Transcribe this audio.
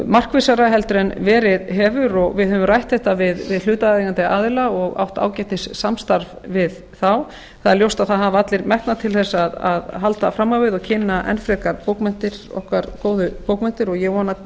markvissara heldur en verið hefur og við höfum rætt þetta við hlutaðeigandi aðila og átt ágætissamstarf við þá það er ljóst að það hafa allir metnað til að halda fram á við og kynna enn frekar okkar góðu bókmenntir og ég vona